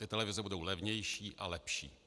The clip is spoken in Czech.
Ty televize budou levnější a lepší.